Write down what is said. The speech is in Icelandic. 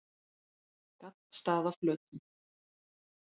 Gaddstaðaflötum